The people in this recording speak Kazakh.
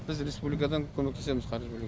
біз республикадан көмектесеміз қаржы бөлу